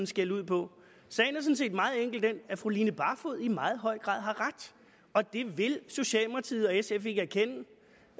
skælde ud på sagen set meget enkelt den at fru line barfod i meget høj grad har ret og det vil socialdemokratiet og sf ikke erkende